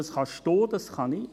Das können Sie, das kann ich.